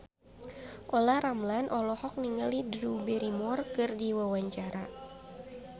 Olla Ramlan olohok ningali Drew Barrymore keur diwawancara